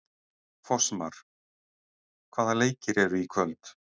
Fossmar, hvaða leikir eru í kvöld?